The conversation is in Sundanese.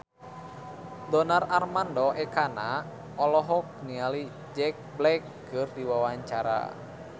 Donar Armando Ekana olohok ningali Jack Black keur diwawancara